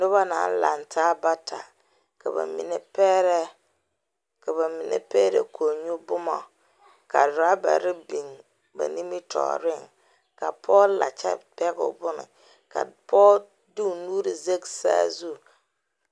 Noba naŋ laŋtaa bata ka ba mine pɛgrɛ ka ba mine pɛgrɛ kɔŋnyuboma raabare biŋ ba nimitɔɔreŋ ka pɔge la kyɛ pɛge o bonne ka pɔge de o nuuri zage saa zu.